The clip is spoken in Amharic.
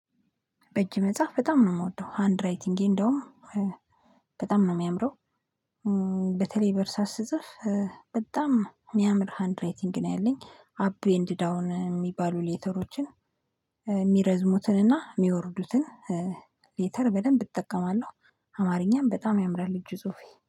በእጅ መጽሐፍ በጣም ነው የምወደው ሃንድ ራይቲንጌ እንደውም በጣም ነው የሚያምረው። በተለይ በርሳስ ስጽፍ በጣም የሚያምር ሃንድ ራይቲንግ ነው ያለኝ። አፕ ኤንድ ዳውን የሚባሉ ሌተሮችን የሚረዝሙትንና የሚወርዱትን ሌተር በደንብ እጠቀማለሁ። አማርኛም በጣም ያምራል እጅ ዙፊ